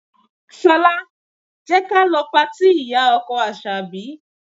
Ṣọlá, jẹ́ ka lọ patí ìyá-ọkọ Àṣàbí.